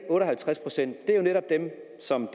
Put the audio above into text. dem som